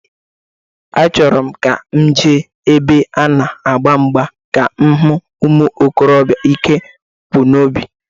Achọrọ m ka m jee ebe a na-agba mgba ka m hu umuikorobịa ike kwụ n'obi.